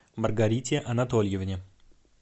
маргарите анатольевне